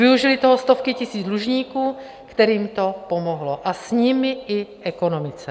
Využily toho stovky tisíc dlužníků, kterým to pomohlo, a s nimi i ekonomice.